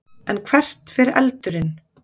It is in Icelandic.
En hvert fer eldurinn?